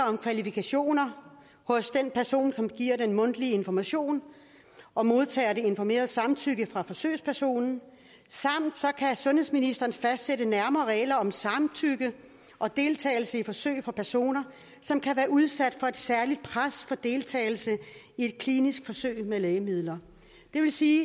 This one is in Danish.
og kvalifikationer hos den person som giver den mundtlige information og modtager det informerede samtykke fra forsøgspersonen og sundhedsministeren kan fastsætte nærmere regler om samtykke og deltagelse i forsøg for personer som kan være udsat for et særligt pres for deltagelse i et klinisk forsøg med lægemidler det vil sige